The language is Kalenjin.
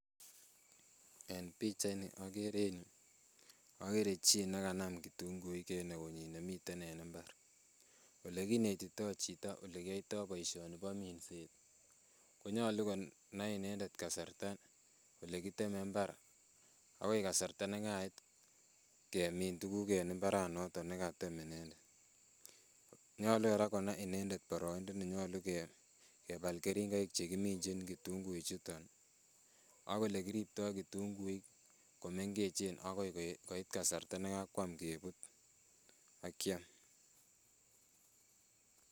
En pichaini okere en yuu, okere chii nekanam kitung'uik en eunyin nemiten en imbar, olekinetito chito olekiyoito boishoni bo minset ko nyolu konai inendet kasarta olekiteme imbar ak koi kasarta nekait kemin tukuk en imbaranoton nekatem inendet, nyolu kora konai inendet boroindo nenyolu kebal keringoik chekiminchin kitungui chuton ak olekiripto kitung'uik komeng'echen akoi koit kasarta nekakwam kebut ak kiam.